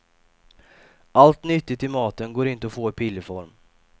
Allt nyttigt i maten går inte att få i pillerform.